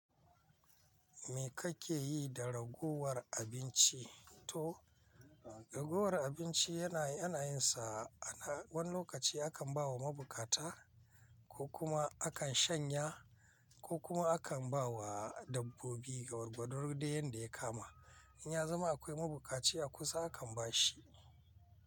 Me kake yi da ragowar abinci? To ragowar abinci yana, yanayinsa ana wani lokaci akan ba wa mabukata ko kuma akan shanya ko kuma akan ba wa dabbobi gwargwadodai yadda ya kama. In ya zama akwai mabukaci a kusa akan ba shi.